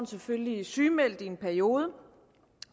selvfølgelig sygemeldt i en periode